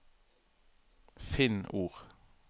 Finn ord